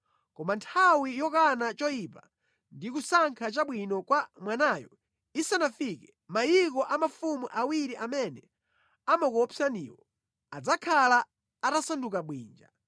Koma nthawi yokana choyipa ndi kusankha chabwino kwa mwanayo isanafike, mayiko a mafumu awiri amene amakuopsaniwo adzakhala atasanduka bwinja.